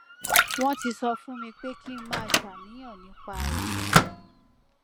wọn ti sọ fún mi pé kí n má ṣàníyàn nípa rẹ